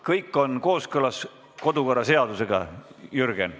Kõik on kooskõlas kodukorraseadusega, Jürgen.